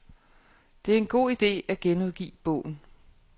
Det er en god ide at genudgive bogen.